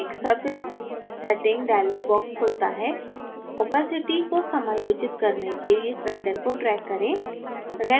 एक surface setting dialog box खुलता है opacity को समायोजित करने के लिए slider को drag करें